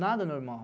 Nada é normal.